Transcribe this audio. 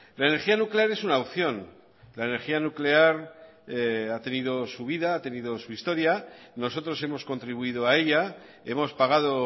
la energía nuclear es una opción la energía nuclear ha tenido su vida ha tenido su historia nosotros hemos contribuido a ella hemos pagado